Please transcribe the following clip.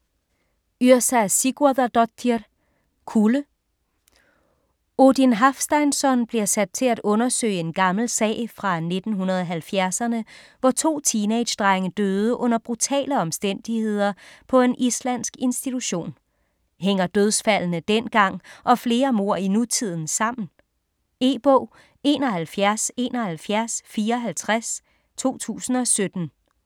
Yrsa Sigurðardóttir: Kulde Odin Hafsteinsson bliver sat til at undersøge en gammel sag fra 1970'erne, hvor to teenagedrenge døde under brutale omstændigheder på en islandsk institution. Hænger dødsfaldene dengang og flere mord i nutiden sammen? E-bog 717154 2017.